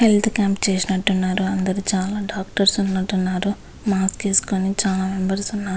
Health camp చేసినట్టు ఉన్నారు అందులో చాలా డాక్టర్స్ ఉన్నట్టు ఉన్నారు. చాల మెంబెర్స్ ఉన్నారు .